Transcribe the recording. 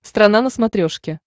страна на смотрешке